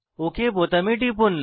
okay বোতামে টিপুন